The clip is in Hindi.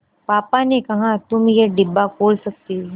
पापा ने कहा तुम ये डिब्बा खोल सकते हो